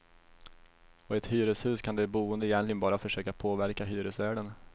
Och i ett hyreshus kan de boende egentligen bara försöka påverka hyresvärden.